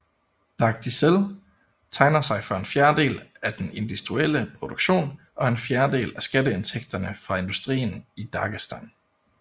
Dagdizel tegner sig for en fjerdedel af den industrielle produktion og en fjerdedel af skatteindtægterne fra industrien i Dagestan